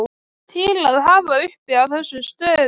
til að hafa uppi á þessum stöðum.